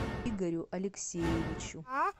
игорю алексеевичу